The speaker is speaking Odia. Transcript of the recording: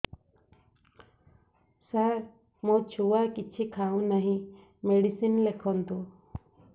ସାର ମୋ ଛୁଆ କିଛି ଖାଉ ନାହିଁ ମେଡିସିନ ଲେଖନ୍ତୁ